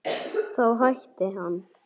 Þá hætti hann.